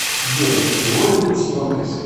джой тяжело ли быть стюардессой